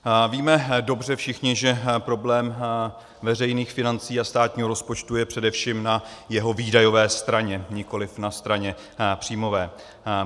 Víme dobře všichni, že problém veřejných financí a státního rozpočtu je především na jeho výdajové straně, nikoliv na straně příjmové.